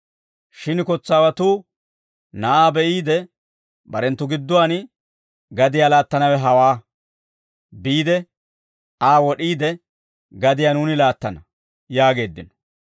«Shin kotsaawatuu na'aa be'iide, barenttu gidduwaan, ‹Gadiyaa laattanawe hawaa; biide Aa wod'iide, gadiyaa nuuni laattana› yaageeddino.